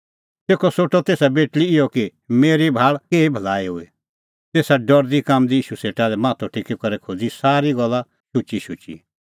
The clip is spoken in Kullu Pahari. तेखअ सोठअ तेसा बेटल़ी इहअ कि मेरी भाल़ केही भलाई हुई तेसा डरदीकाम्बदी ईशू सेटा माथअ टेकी करै खोज़ी सारी गल्ला शुचीशुची